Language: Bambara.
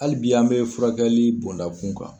Hali bi an bɛ furakɛli bɔnda kun kan.